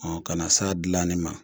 kana s'a dilanni ma